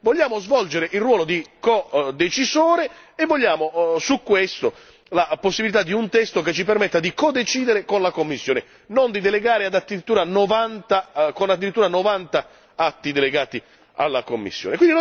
Vogliamo svolgere il ruolo di codecisore e vogliamo su questo la possibilità di un testo che ci permetta di codecidere con la Commissione, non di delegare con addirittura 90 atti delegati alla Commissione